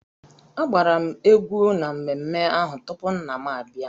Agbara m egwú n'ememme ahụ tupu nna m abịa.